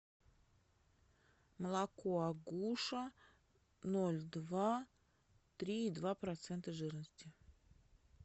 молоко агуша ноль два три и два процента жирности